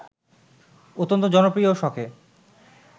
অত্যন্ত জনপ্রিয় শখে